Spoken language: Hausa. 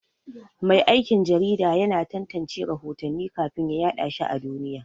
Mai aikin jarida yana tantance rahotanni kafin ya yaɗa shi a duniya.